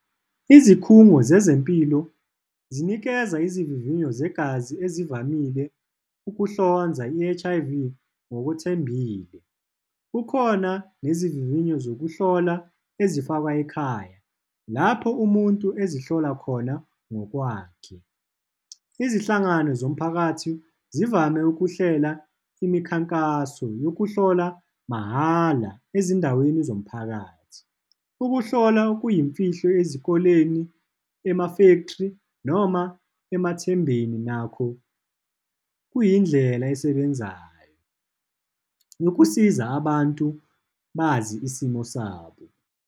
Izikhungo zezempilo zinikeza izivivinyo zegazi ezivamile ukuhlonza i-H_I_V ngokwethembile. Kukhona nezivivinyo zokuhlola ezifakwa ekhaya, lapho umuntu ezihlolwa khona ngokwakhe. Izinhlangano zomphakathi zivame ukuhlela imikhankaso yokuhlola mahhala ezindaweni zomphakathi. Ukuhlola kuyimfihlo ezikoleni ema-factory, noma emathembeni nakho kuyindlela esebenzayo, ukusiza abantu bazi isimo sabo.